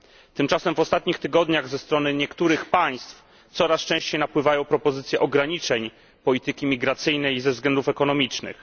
Tymczasem w ostatnich tygodniach ze strony niektórych państw coraz częściej napływają propozycje ograniczeń polityki migracyjnej i migracji ze względów ekonomicznych.